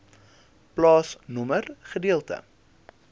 plaasnommer gedeelte